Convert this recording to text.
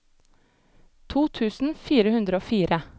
to tusen fire hundre og fire